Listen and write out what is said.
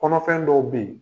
Kɔnɔfɛn dɔw be ye